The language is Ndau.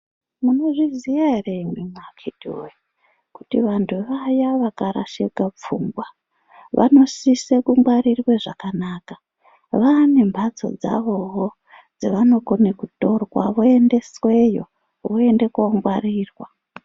Munozviziya ere imwi akiti woye kuti vantu vaya vakarasika pfungwa vanosise ku ngwarirwe zvakanaka vane mbatso dzavowo dzavano kone kutora voendesweyo voende ko ngwarirwa.